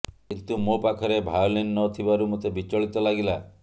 କିନ୍ତୁ ମୋ ପାଖରେ ଭାୟୋଲିନ୍ ନ ଥିବାରୁ ମୋତେ ବିଚଳିତ ଲାଗିଲା